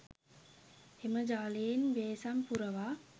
එම ජලයෙන් බේසම් පුරවා